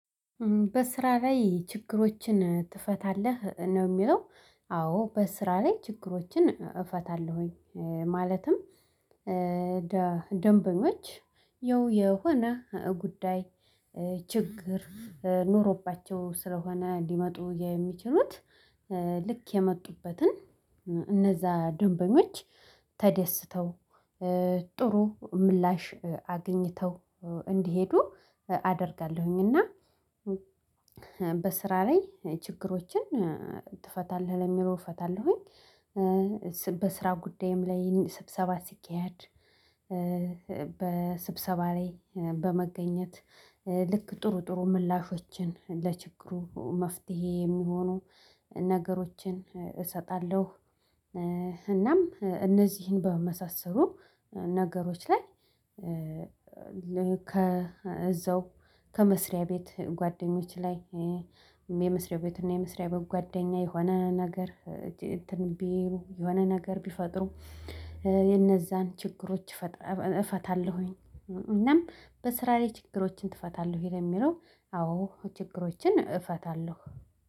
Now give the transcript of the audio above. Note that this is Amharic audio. በስራ ላይ ችግሮችን ትፈታለህ ነው የሚለው? አዎ በስራ ላይ ችግሮችን እፈታለሁኝ። ማለትም ደንበኞች የሆነ ጉዳይ ችግር ኖሮባቸው ስለሆነ ሊመጡ የሚችሉት ልክ የመጡበትን እነዛ ደንበኞች ተደስተው ጥሩ ምላሽ አግኝተው እንዲሄዱ አደርጋለሁኝ እና በስራ ላይ ችግሮችን ትፈታለህ ለሚለው እፈታለሁኝ። በስራ ጉዳይም ላይ ስብሰባ ሲካሄድ በስብሰባ ላይ በመገኘት ልክ ጥሩ ጥሩ ምላሾችን ለችግሩ መፍትሄ የሚሆኑ ነገሮችን እሰጣለሁ። እናም እነዚህን በመሳሰሉ ነገሮች ላይ ከእዛው ከመስሪያ ቤት ጓደኞች ላይ የመስሪያ ቤት እና የመስሪያ ቤት ጓደኛ የሆነ ነገር እንትን ቢሉ የሆነ ነገር ቢፈጥሩ የነዛን ችግሮች እፈታለሁኝ። እናም በስራ ላይ ችግሮችን ትፈታለሁ ይሄ የሚለው አዎ ችግሮችን እፈታለሁ